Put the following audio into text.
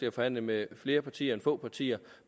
at forhandle med flere partier end med få partier